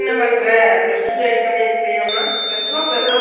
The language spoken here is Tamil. ஆமா இப்ப நறைய பேர் வந்து eigth ல அஹ் fail